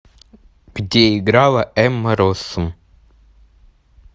где играла эмма россум